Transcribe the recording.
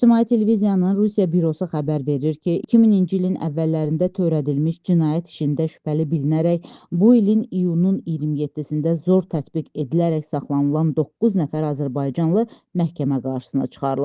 İctimai Televiziyanın Rusiya bürosu xəbər verir ki, 2000-ci ilin əvvəllərində törədilmiş cinayət işində şübhəli bilinərək bu ilin iyunun 27-də zor tətbiq edilərək saxlanılan doqquz nəfər azərbaycanlı məhkəmə qarşısına çıxarılıb.